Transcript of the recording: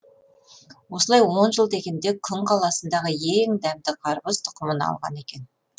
осылай он жыл дегенде күн қаласындағы ең дәмді қарбыз тұқымын алған екен